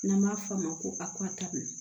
N'an b'a f'a ma ko a kɔ tabi